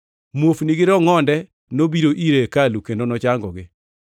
Muofni gi rongʼonde nobiro ire e hekalu kendo nochangogi.